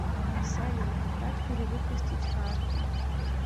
салют как перивыпустить карту